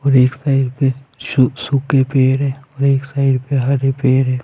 और एक साइड पे सू सूखे पेड़ है और एक साइड पे हरे पेड़ है।